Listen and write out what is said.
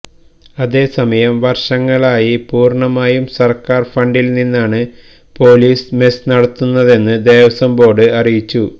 അതേസമയം വര്ഷങ്ങളായി പൂര്ണമായും സര്ക്കാര് ഫണ്ടില് നിന്നാണ് പോലീസ് മെസ് നടത്തുന്നതെന്ന് ദേവസ്വം ബോര്ഡ് അറിയിച്ചു